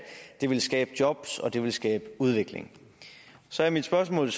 det ville skabe jobs og det ville skabe udvikling så er mit spørgsmål